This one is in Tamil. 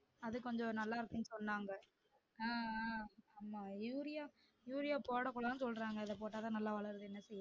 அது கொஞ்சம் நல்லா இருக்குன்னு சொன்னாங்க அஹ் அஹ் ஆமாம் யூரியா யூரியா போட கூடாதுன்னு சொல்றாங்க அத போட்டாத நல்லா வளருது என்ன செய்ய